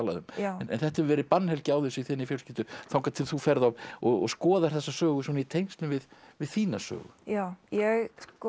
um en þetta hefur verið bannhelgi á þessu í þinni fjölskyldu þangað til þú ferð og og skoðar þessa sögu svona í tengslum við við þína sögu já ég